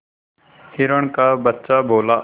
हिरण का बच्चा बोला